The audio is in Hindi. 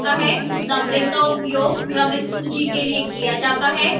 numbering का उपयोग क्रमित सूची के लिए किया जाता है